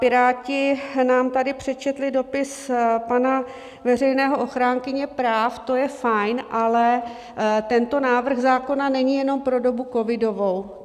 Piráti nám tady přečetli dopis pana veřejného ochránce práv, to je fajn, ale tento návrh zákona není jenom pro dobu covidovou.